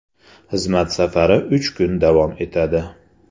Xizmat safari uch kun davom etadi.